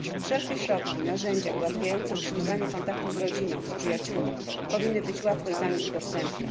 Wszelkie środki, narzędzia ułatwiające utrzymywanie kontaktów z rodziną, przyjaciółmi powinny być łatwo i tanio dostępne.